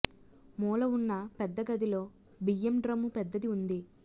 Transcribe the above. మూల ఉన్న పెద్ద గదిలో బియ్యం డ్రమ్ము పెద్దది ఉంది